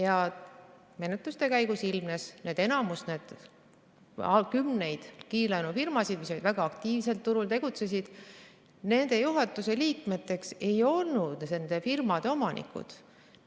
Aga menetluste käigus ilmnes, et enamikus neist, kümnetes kiirlaenufirmades, mis olid turul väga aktiivsed, ei olnud juhatuse liikmeteks nende firmade omanikud.